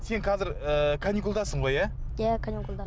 сен қазір ы каникулдасың ғой иә иә каникулда